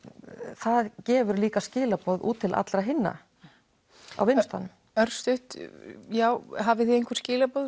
það gefur líka skilaboð til allra hinna á vinnustaðnum örstutt hafið þið einhver skilaboð